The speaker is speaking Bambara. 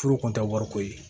Furu kun tɛ wariko ye